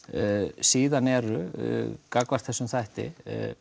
síðan eru gagnvart þessum þætti